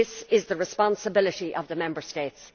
This is the responsibility of the Member States'.